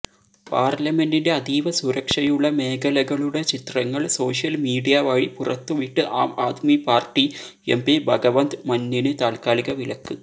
പാർലമെന്റിന്റെ അതീവസുരക്ഷയുള്ള മേഖലകളുടെ ചിത്രങ്ങൾ സോഷ്യൽ മീഡിയവഴി പുറത്തുവിട്ട് ആംആദ്മി പാർട്ടി എംപി ഭഗവന്ത് മന്നിന് താൽക്കാലിക വിലക്ക്